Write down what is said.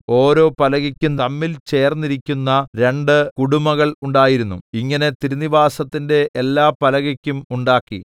ഓരോ പലകയ്ക്കും തമ്മിൽ ചേർന്നിരിക്കുന്ന രണ്ട് കുടുമകൾ ഉണ്ടായിരുന്നു ഇങ്ങനെ തിരുനിവാസത്തിന്റെ എല്ലാ പലകയ്ക്കും ഉണ്ടാക്കി